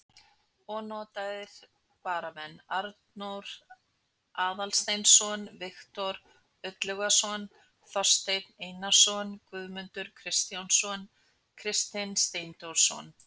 Ónotaðir varamenn: Arnór Aðalsteinsson, Viktor Illugason, Þorsteinn Einarsson, Guðmundur Kristjánsson, Kristinn Steindórsson.